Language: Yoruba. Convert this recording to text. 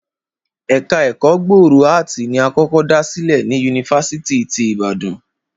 Ẹ̀ka ẹ̀kọ́ gbòòrò áàtì ni a kọ́kọ́ dá sílẹ̀ ni yunifásítì ti Ìbàdàn